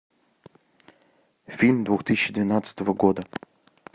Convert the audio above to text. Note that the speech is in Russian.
фильм две тысячи двенадцатого года